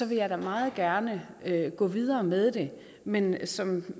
vil jeg da meget gerne gå videre med det men som